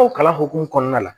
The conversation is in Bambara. O kalan hokumu kɔnɔna la